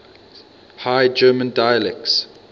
high german dialects